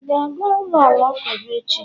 ị ga-aga ụlọ alakụba echi?